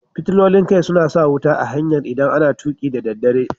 Fitilolin kai suna sa wuta a hanyar idan a na tuki da dare.